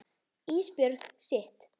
Ísbjörg sitt.